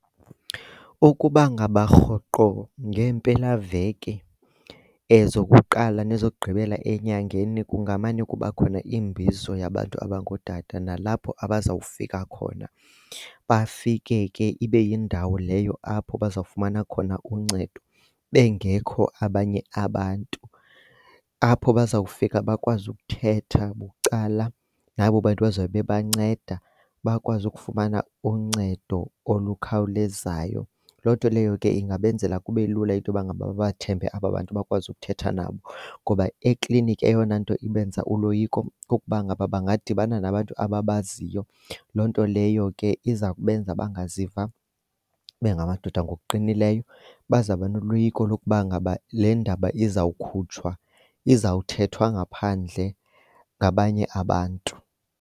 Ukuba ngaba rhoqo ngeempelaveki ezokuqala nezokugqibela enyangeni kungamane kuba khona iimbizo yabantu abangootata. Nalapho abazawufika khona, bafike ke ibe yindawo leyo apho bazawufumana khona uncedo bengekho abanye abantu. Apho bazawufika bakwazi ukuthetha bucala nabo bantu bazobe bebanceda bakwazi ukufumana uncedo olukhawulezayo. Loo nto leyo ke ingabenzela kube lula into yoba ngaba babathembe aba bantu, bakwazi ukuthetha nabo. Ngoba ekliniki eyona nto ibenza uloyiko kukuba ngaba bangadibana nabantu ababaziyo, loo nto leyo ke iza kubenza bangaziva bengamadoda ngokuqinileyo. Bazawuba noloyiko lokuba ngaba le ndaba izawukhutshwa, izawuthathwa ngaphandle ngabanye abantu.